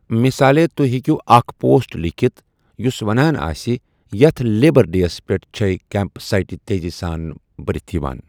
مِثالے ، توہہِ ہیكِیو اکھ پوسٹ لیكھِتھ یٗس ونان آسہِ ،' یتھ لیبر ڈے ہس پیٹھ چھے٘ كیمپ سایٹہٕ تیزی سان برِتھ یوان!